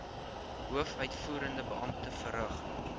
hoofuitvoerende beampte verrig